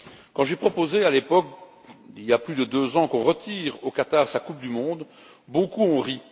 Quand j'ai proposé à l'époque, il y a plus de deux ans, de retirer au Qatar sa Coupe du monde, beaucoup ont ri.